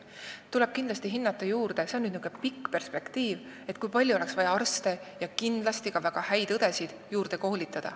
Kaugemas perspektiivis tuleb kindlasti hinnata, kui palju oleks vaja juurde koolitada arste ja ka väga häid õdesid.